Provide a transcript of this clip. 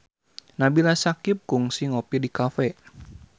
Nabila Syakieb kungsi ngopi di cafe